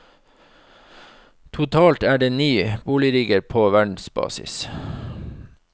Totalt er det ni boligrigger på verdensbasis.